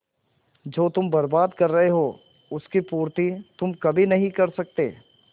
जो तुम बर्बाद कर रहे हो उसकी पूर्ति तुम कभी नहीं कर सकते